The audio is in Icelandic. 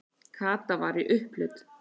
Kata var í upphlut.